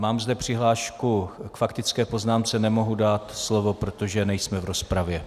Mám zde přihlášku k faktické poznámce, nemohu dát slovo, protože nejsme v rozpravě.